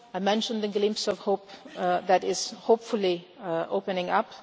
Syria. I have mentioned the glimpse of hope that is hopefully opening